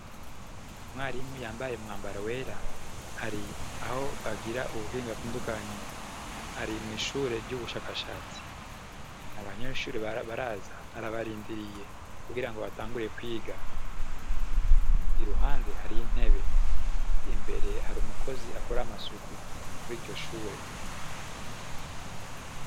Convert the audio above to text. Mwarimu yambaye mwambaro wera hari aho bagira ubuhinga avindukanyi ari mw'ishure ry'ubushakashatsi ni abanyeshure abaraza arabarindiriye kugira ngo batanguriye kwiga i ruhande hari intebe imbere hari umukozi akora amasuku ityo shure.